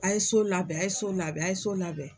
A ye so labɛn a ye so labɛn a ye so labɛn.